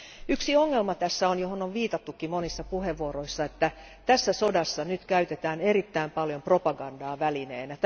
Yksi ongelma tässä on, johon on viitattukin monissa puheenvuoroissa, että tässä sodassa nyt käytetään erittäin paljon propagandaa välineenä.